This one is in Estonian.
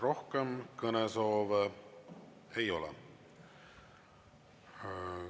Rohkem kõnesoove ei ole.